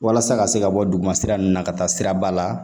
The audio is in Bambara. Walasa ka se ka bɔ duguma sira ninnu na ka taa siraba la